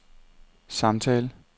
samtale